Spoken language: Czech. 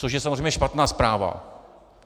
Což je samozřejmě špatná zpráva.